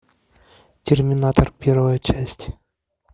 терминатор первая часть